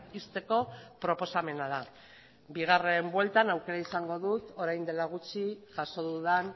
ixteko proposamena da bigarren bueltan aukera izango dut orain dela gutxi jaso dudan